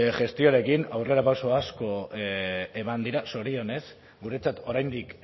gestioarekin aurrerapauso asko eman dira zorionez guretzat oraindik